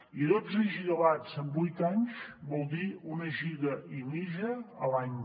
i dotze gigawatts en vuit anys vol dir una giga i mitja a l’any